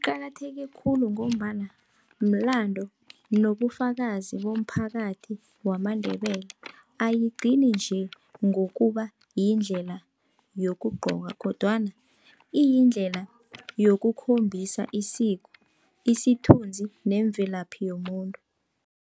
Kuqakatheke khulu, ngombana mlando nobufakazi bomphakathi wamaNdebele. Ayigcini nje ngokuba yindlela yokugqoka, kodwana iyindlela yokukhombisa isiko, isithunzi nemvelaphi yomuntu.